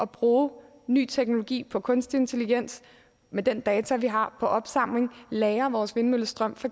bruge ny teknologi på kunstig intelligens med den data vi har på opsamling lagre vores vindmøllestrøm for